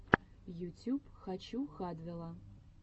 ютюб хочу хадвела